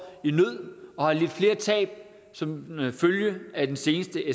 i nød og har lidt flere tab som følge af den seneste